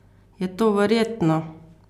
Je to verjetno?